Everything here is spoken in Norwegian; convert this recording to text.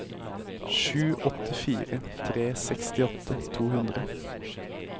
sju åtte fire tre sekstiåtte to hundre